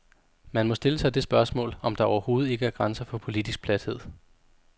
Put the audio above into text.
Man må stille sig det spørgsmål, om der overhovedet ikke er grænser for politisk plathed.